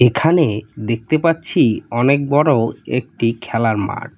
এখানে দেখতে পাচ্ছি অনেক বড় একটি খেলার মাঠ।